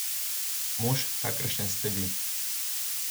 Mož, kakršen ste vi.